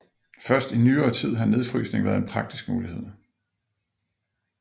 Først i nyere tid har nedfrysning været en praktisk mulighed